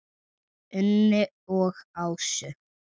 Unni og Ásu.